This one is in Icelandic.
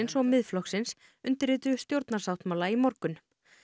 og Miðflokksins undirrituðu stjórnarsáttmála í morgun